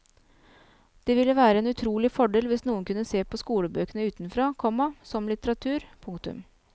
Det ville være en utrolig fordel hvis noen kunne se på skolebøkene utenfra, komma som litteratur. punktum